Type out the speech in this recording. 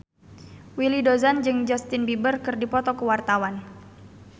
Willy Dozan jeung Justin Beiber keur dipoto ku wartawan